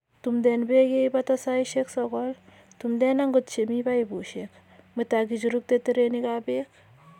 Tumden beek ye ibata saisiek sogol. tumden agot chemi paipusiek. mwet ak ichurukte terenikab beek.